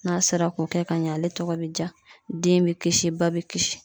N'a sera k'o kɛ ka ɲɛ, ale tɔgɔ be ja den bi kisi ba bi kisi.